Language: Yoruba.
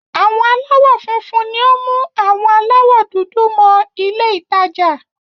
Àwọn aláwọ̀ funfun ni ó mú àwọn aláwọ̀ dúdú mọ ilé-ìtajà.